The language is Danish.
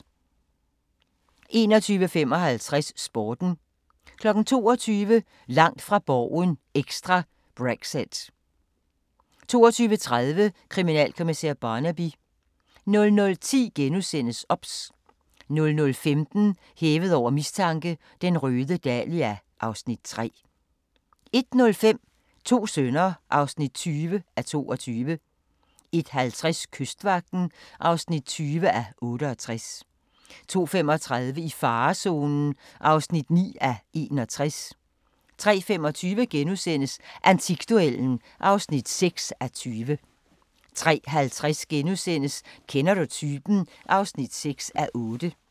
21:55: Sporten 22:00: Langt fra Borgen ekstra: Brexit 22:30: Kriminalkommissær Barnaby 00:10: OBS * 00:15: Hævet over mistanke: Den røde dahlia (Afs. 3) 01:05: To sønner (20:22) 01:50: Kystvagten (20:68) 02:35: I farezonen (9:61) 03:25: Antikduellen (6:20)* 03:50: Kender du typen? (6:8)*